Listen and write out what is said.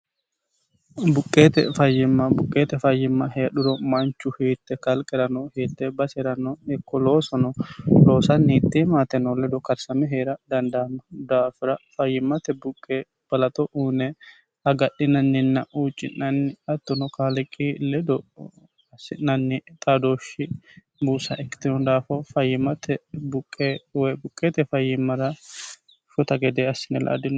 buqqeete fayyimma buqqeete fayyimma heedhuro manchu hiitte kalqerano hiitte basirano hikko loosono loosani hiitte maateno ledo karisame hee'ra dandaano daafira fayyimate buqqe balaxo uuyine agadhinaninna huucci'nanni hattono kaaliqi ledo assi'nanni xaadooshshi buusa ikkitino daafo fayyimate buqqe woy buqqeete fayyimmara shota gede assine la'a dinno